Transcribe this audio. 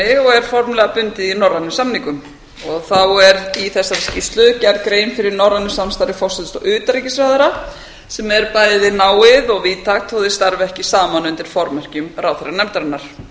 og er formlega bundið í norrænum samningum þá er í þessari skýrslu gerð grein fyrir norrænu samstarfi forsætis og utanríkisráðherra sem er bæði náið og víðtækt þó þeir starfi ekki saman undir formerkjum ráðherranefndarinnar